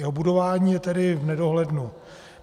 Jeho budování je tedy v nedohlednu.